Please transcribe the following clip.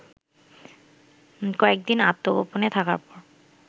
কয়েক দিন আত্মগোপনে থাকার পর